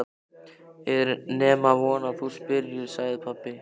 Er nema von að þú spyrjir, sagði pabbi hans.